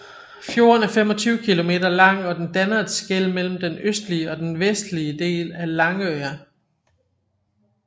Fjorden er 25 kilometer lang og den danner et skel mellem den østlige og den vestlige del af Langøya